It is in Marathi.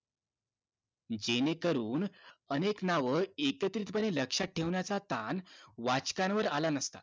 जेणेकरून अनेक नाव एकत्रितपणे लक्ष्यात ठेवण्याचा ताण वाचकांवर आला नसता